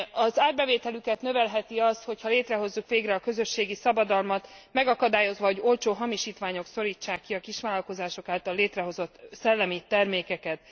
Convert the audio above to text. Az árbevételüket növelheti az, hogyha létrehozzuk végre a közösségi szabadalmat, megakadályozva, hogy olcsó hamisítványok szorítsák ki a kisvállalkozások által létrehozott szellemi termékeket.